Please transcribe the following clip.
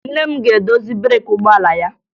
Nne m ga-edozi breeki ụgbọala ya